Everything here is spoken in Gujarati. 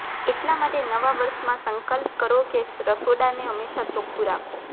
એટલા માટે નવા વર્ષમાં સંકલ્પ કરો કે રસોડાને હંમેશાં ચોખ્ખુ રાખો